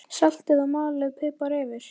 Saltið og malið pipar yfir.